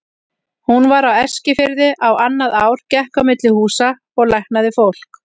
Hún var á Eskifirði á annað ár, gekk á milli húsa og læknaði fólk.